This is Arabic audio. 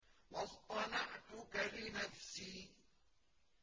وَاصْطَنَعْتُكَ لِنَفْسِي